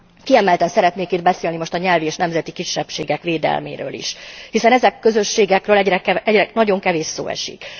Kiemelten szeretnék itt beszélni most a nyelvi és nemzeti kisebbségek védelméről is. Hiszen ezen közösségekről nagyon kevés szó esik.